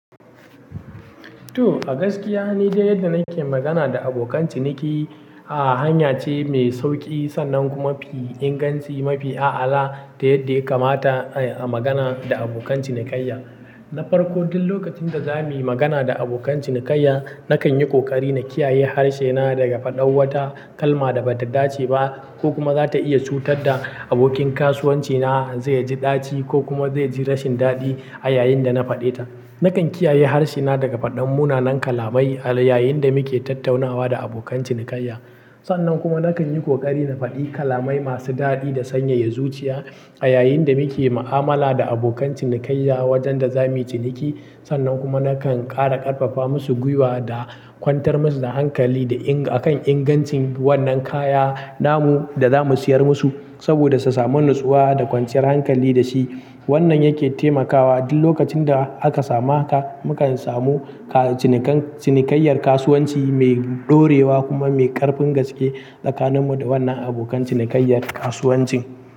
To, a gaskiya, nidai yadda nake magana da abokan ciniki. A'a, hanya ce mai sauƙi sannan kuma mafi inganci, mafi a'ala ta yadda ya kamata a magana da abokan cinikayya. Na farko, duk lokacin da za mu yi magana da abokan cinikayya, na kan yi ƙoƙari na kiyaye harshe na daga faɗar wata kalma da ba ta dace ba ko kuma za ta iya cutar da abokin kasuwanci na zai ji ɗaci ko kuma zai ji rashin daɗi a yayin da na faɗe ta. Na kan kiyaye harshe na daga faɗin munanan kalamai a yayin da muke tattaunawa da abokan cinikayya. Sannan kuma na kan yi ƙoƙari na faɗi kalamai masu daɗi da sanyaya zuciya a yayin da muke ma'amala da abokan cinikayya wajen da za mu yi ciniki. Sannan kuma na kan ƙara ƙarfafa musu gwiwa da kwantar musu da hankali da inga-- akan ingancin wannan kaya, namu da za mu siyar musu saboda su samu natsuwa da kwanciyar hankali da shi. Wannan yake taimakawa duk lokacin da aka samu haka, mu kan samu cini– cinikayyar kasuwanci mai ɗorewa kuma mai ƙarfin gaske tsakaninmu da wannan abokan cinikayyar kasuwancin.